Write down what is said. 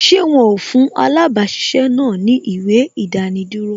Ṣé wọn ó fún alabasisẹ́ náà ni ìwé idaniduro